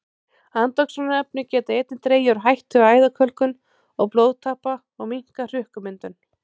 Andoxunarefni geta einnig dregið úr hættu á æðakölkun og blóðtappa og minnkað hrukkumyndun.